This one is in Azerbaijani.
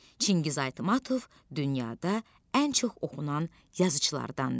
Çingiz Aytmatov dünyada ən çox oxunan yazıçılardandır.